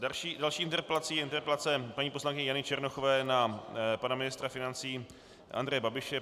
Další interpelací je interpelace paní poslankyně Jany Černochové na pana ministra financí Andreje Babiše.